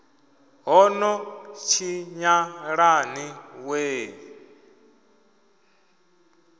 ho no tshinyala ni wee